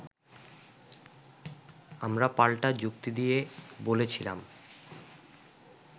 আমরা পাল্টা যুক্তিদিয়ে বলেছিলাম